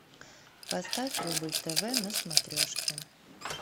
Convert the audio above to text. поставь рубль тв на смотрешке